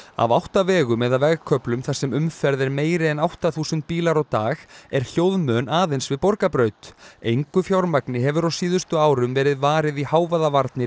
af átta vegum eða vegköflum þar sem umferð er meiri en átta þúsund bílar á dag er hljóðmön aðeins við Borgarbraut engu fjármagni hefur á síðustu árum verið varið í hávaðavarnir